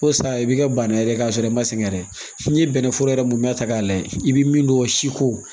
O sa i bi kɛ bana yɛrɛ k'a sɔrɔ i ma sɛgɛn yɛrɛ n'i ye bɛnnɛforo yɛrɛ mun bɛɛ ta k'a lajɛ i bi min dɔn si ko